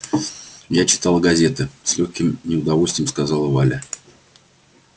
я читала газеты с лёгким неудовольствием сказала валя